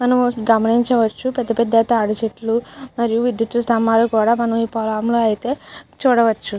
మనం గమనించవచ్చు పెద్ద పెద్ద తాటి చెట్లు మరియు విద్యుత్ స్తంభాలు కూడా మనం ఈ పొలం లో ఐతే చూడవచ్చు.